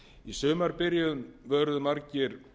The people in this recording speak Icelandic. í sumarbyrjun vöruðu margir